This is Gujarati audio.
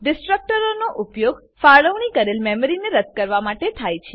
ડીસ્ટ્રકટરોનો ઉપયોગ ફાળવણી કરેલ મેમરીને રદ્દ કરવા માટે થાય છે